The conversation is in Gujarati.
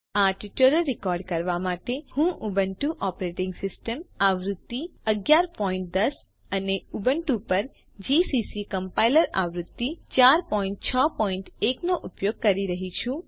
આ ટ્યુટોરીયલ રેકોર્ડ કરવા માટે હું ઉબુન્ટુ ઓપરેટીંગ સિસ્ટમ આવૃત્તિ 1110 અને ઉબુન્ટુ પર જીસીસી કમ્પાઈલર આવૃત્તિ 461 નો ઉપયોગ કરી રહ્યી છું